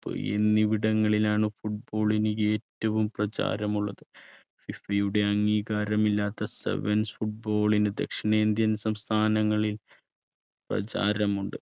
എന്നിവിടങ്ങളിലാണ് football ന് ഏറ്റവും പ്രചാരമുള്ളത് ഫിഫയുടെ അംഗീകാരം ഇല്ലാത്ത സെവൻസ് football ന് ദക്ഷിണേന്ത്യൻ സംസ്ഥാനങ്ങളിൽ പ്രചാരമുണ്ട്.